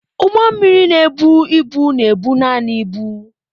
Ụgbọ mmiri na-ebu ibu na-ebu naanị ibu.